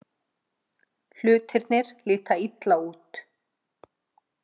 Hlutirnir líta illa út